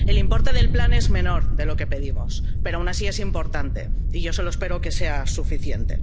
El importe del plan es menor de lo que pedimos, pero, aun así, es importante, y yo solo espero que sea suficiente.